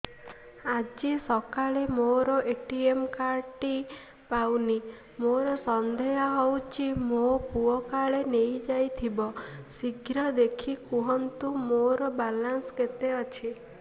ଆଜି ସକାଳେ ମୋର ଏ.ଟି.ଏମ୍ କାର୍ଡ ଟି ପାଉନି ମୋର ସନ୍ଦେହ ହଉଚି ମୋ ପୁଅ କାଳେ ନେଇଯାଇଥିବ ଶୀଘ୍ର ଦେଖି କୁହନ୍ତୁ ମୋର ବାଲାନ୍ସ କେତେ ଅଛି